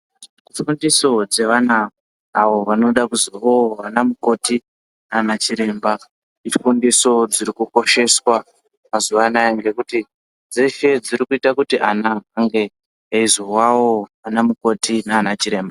Fundiso dzevana awo vanoda kuzovawo vanamukoti nanachiremba ifundiso dziri kukosheswa mazuwa anaya ngekuti dzeshe dziri kuita kuti ana ange eyizowawo anamukoti nanachiremba.